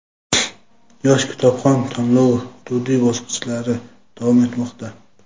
"Yosh kitobxon" tanlovi hududiy bosqichlari davom etmoqda!.